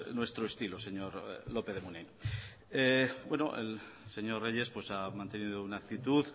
nuestro estilo señor lópez de munain el señor reyes ha mantenido una aptitud